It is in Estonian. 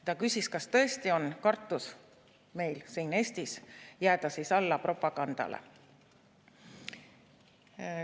Ta küsis, kas tõesti on meil siin Eestis kartus jääda alla propagandale.